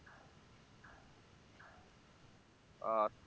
আচ্ছা